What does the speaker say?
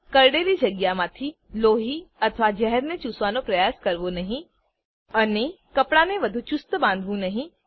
કરડેલી જગ્યામાંથી લોહી અથવા ઝેરને ચૂસવાનો પ્રયાસ કરવો નહી અને કપડાને વધુ ચુસ્ત બાંધવું નહી